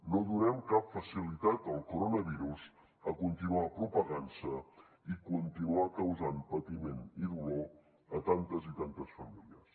no donem cap facilitat al coronavirus a continuar propagant se i continuar causant patiment i dolor a tantes i tantes famílies